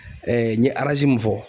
n ye mun fɔ.